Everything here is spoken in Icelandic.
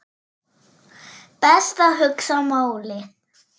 Best að hugsa málið.